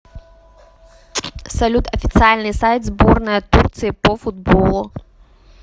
салют официальный сайт сборная турции по футболу